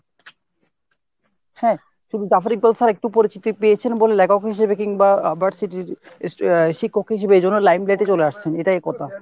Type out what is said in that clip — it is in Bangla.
হ্যাঁ শুধু Jafri Balsar একটু পরিচিতি পেয়েছেন বলে লেখক হিসাবে কিংবা আহ শিক্ষক হিসাবে এই জন্য limelight এ চলে আসছেন এইটাই কথা।